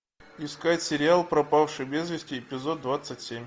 искать сериал пропавший без вести эпизод двадцать семь